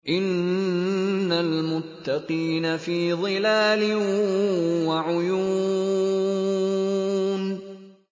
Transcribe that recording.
إِنَّ الْمُتَّقِينَ فِي ظِلَالٍ وَعُيُونٍ